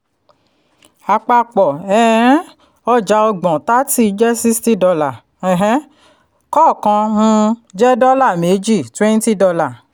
àpapọ um ọjà ọgbọ̀n thirty jẹ́ sixty dollar um kọọkan um jẹ́ dọ́là méjì twenty dollar